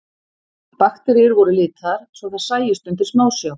Bakteríur voru litaðar svo þær sæjust undir smásjá.